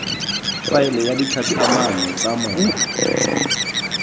faela wa ditlhatlhamano tsa mola